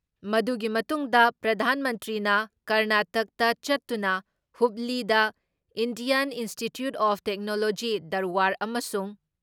ꯃꯗꯨꯒꯤ ꯃꯇꯨꯡꯗ, ꯄ꯭ꯔꯙꯥꯟ ꯃꯟꯇ꯭ꯔꯤꯅ ꯀꯔꯅꯥꯇꯛꯇ ꯆꯠꯇꯨꯅ ꯍꯨꯕꯂꯤꯗ Indian institute of technology Dharwad ꯑꯃꯁꯨꯡ